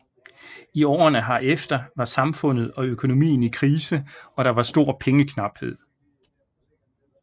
I årene herefter var samfundet og økonomien i krise og der var stor pengeknaphed